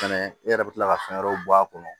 Fɛnɛ i yɛrɛ bɛ tila ka fɛn wɛrɛw bɔ a kɔnɔ